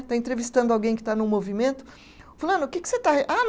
Está entrevistando alguém que está no movimento, fulano, que que você está re, ah